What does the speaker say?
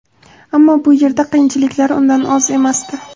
Ammo bu yerda qiyinchiliklar undan oz emasdi.